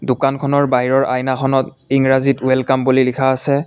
দোকানখনৰ বাহিৰৰ আইনাখনত ইংৰাজীত ৱেলকাম বুলি লিখা আছে।